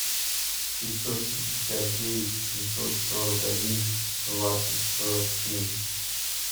пятьсот пятьдесят девять семьсот сорок один двадцать сорок семь